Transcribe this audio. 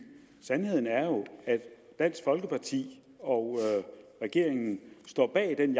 sandheden er jo at dansk folkeparti og regeringen står bag den